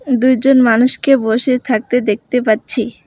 দুইজন মানুষকে বসে থাকতে দেখতে পাচ্ছি।